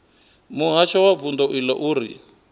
muhasho wa vundu iḽo uri